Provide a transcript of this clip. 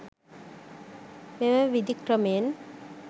මෙම විධික්‍රමයන්